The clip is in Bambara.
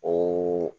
O